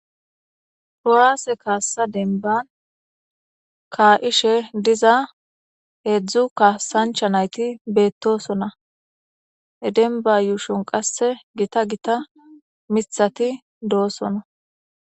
Kuwaase kaassa denban ka'ishe diza heedzdzu kaasancha nayti beettosona denba yuushon qasse gita gita mithati doosona